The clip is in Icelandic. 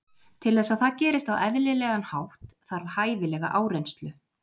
Til þess að það gerist á eðlilegan hátt þarf hæfilega áreynslu.